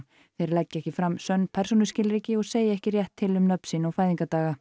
leggi ekki fram sönn persónuskilríki og segi ekki rétt til um nöfn sín og